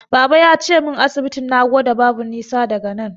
Baba yace min asibitin Nagoda babu nisa daga nan.